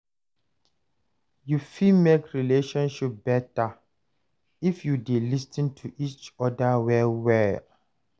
Yu fit mek relationship beta if yu dey lis ten to each oda well well.